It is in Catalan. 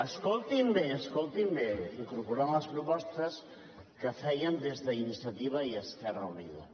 escoltin bé escoltin bé incorporant hi les propostes que fèiem des d’iniciativa i esquerra unida